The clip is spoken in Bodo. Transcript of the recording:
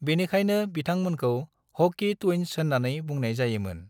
बेनिखायनो बिथां मोनखौ 'हॉकी ट्विन्स' होननानै बुंनाय जायो मोन। ।